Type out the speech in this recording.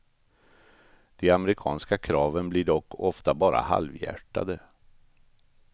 De amerikanska kraven blir dock ofta bara halvhjärtade.